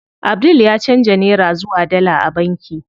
Abdul ya canza nera zuwa dala a banki.